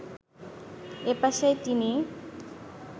এ পেশায় তিনি